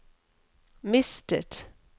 mistet